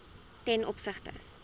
ten opsigte